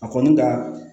A kɔni ka